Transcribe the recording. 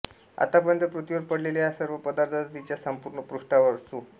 आतापर्यत पृथ्वीवर पडलेल्या या सर्व पदार्थाचा तिच्या संपूर्ण पृष्ठावर सु